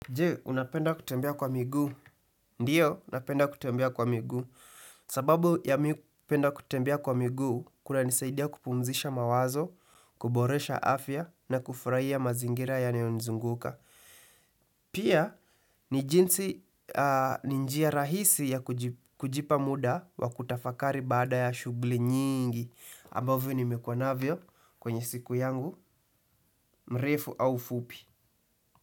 Je, unapenda kutembea kwa miguu? Ndiyo, unapenda kutembea kwa migu. Sababu ya mi kupenda kutembea kwa migu, kunanisaidia kupumzisha mawazo, kuboresha afya na kufurahia mazingira yanaonizunguka. Pia, ni jinsi, ni njia rahisi ya kujipa muda wa kutafakari baada ya shughuli nyingi, ambavyo nimekuwa navyo kwenye siku yangu, mrefu au fupi.